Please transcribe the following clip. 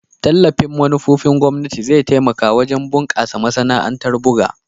Tallafin manufofin gwamnati zai taimaka wajen bunkasa masana'antar buga.